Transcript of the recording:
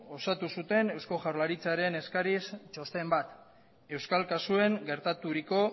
osatu zuten eusko jaurlaritzaren eskariz txosten bat euskal kasuen gertaturiko